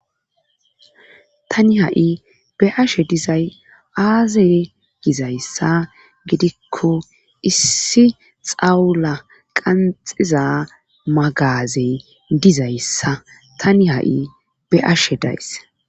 tani ha7i be'ashe dizay aaze gizayssa gidikko issi xawula qanxiza magazey dizayssa tani ha7i be ashe dayssa